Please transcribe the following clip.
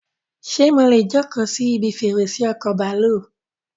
Ṣé mọ́lẹ̀ jókòó si ibi fèrèsé ọkọ bàálù?